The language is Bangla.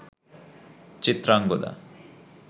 চিত্রাঙ্গদা